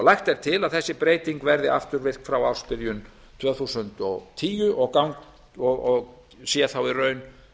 lagt er til að þessi breyting verði afturvirk frá ársbyrjun tvö þúsund og tíu og sér þá í raun